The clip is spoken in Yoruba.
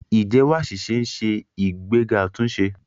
Ìjẹ́wọ́ àṣìṣe ń ṣe ìgbéga àtúnṣe.